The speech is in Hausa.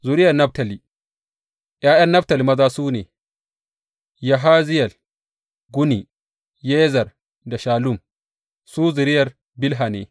Zuriyar Naftali ’Ya’yan Naftali maza su ne, Yaziyel, Guni, Yezer da Shallum, su zuriyar Bilha ne.